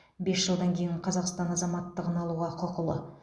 бес жылдан кейін қазақстан азаматтығын алуға құқылы